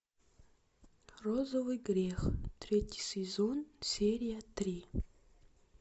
розовый грех третий сезон серия три